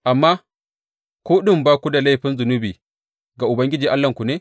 Amma ku ɗin ba ku da laifin zunubi ga Ubangiji Allahnku ne?